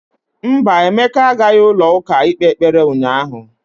Mba, Emeka agaghị ụlọ ụka ịkpe ekpere ụnyahụ.